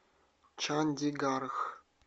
чандигарх